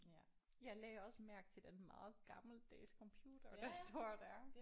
Ja jeg lagde også mærke til den meget gammeldags computer der står der